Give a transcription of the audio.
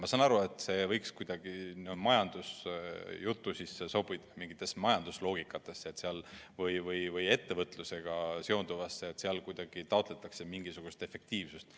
Ma saan aru, et see võiks kuidagi majandusjutu sisse sobida, mingitesse majanduse loogikatesse või ettevõtlusega seonduvasse, sest seal taotletakse mingisugust efektiivsust.